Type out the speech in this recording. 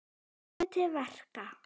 Hann lærði til verka.